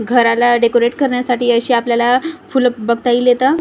घराला डेकोरेट करण्यासाठी अशी आपल्याला फुलं बघता येईल इथं.